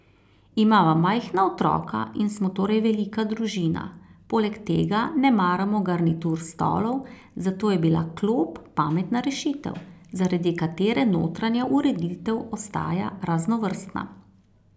Imava majhna otroka in smo torej velika družina, poleg tega ne maramo garnitur stolov, zato je bila klop pametna rešitev, zaradi katere notranja ureditev ostaja raznovrstna.